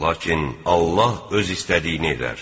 Lakin Allah öz istədiyini edər.